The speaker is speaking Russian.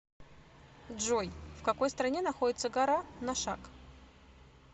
джой в какой стране находится гора ношак